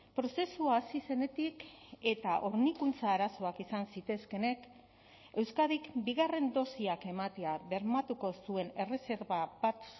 prozesua hasi zenetik eta hornikuntza arazoak izan zitezkeenek euskadik bigarren dosiak ematea bermatuko zuen erreserba bat